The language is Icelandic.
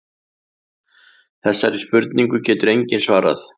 Þessari spurningu getur enginn svarað.